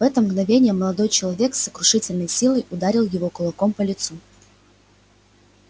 в это мгновение молодой человек с сокрушительной силой ударил его кулаком по лицу